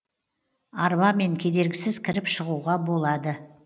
арбамен кедергісіз кіріп шығуға болады